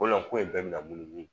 Kolo ko in bɛɛ bɛna munumunu